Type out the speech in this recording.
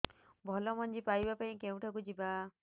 ଭଲ ମଞ୍ଜି ପାଇବା ପାଇଁ କେଉଁଠାକୁ ଯିବା